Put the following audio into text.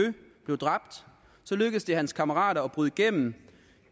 blev dræbt lykkedes det hans kammerater at bryde igennem